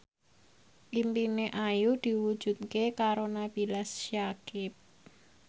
impine Ayu diwujudke karo Nabila Syakieb